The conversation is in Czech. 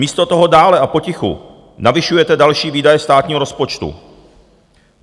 Místo toho dále a potichu navyšujete další výdaje státního rozpočtu.